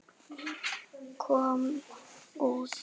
kom út.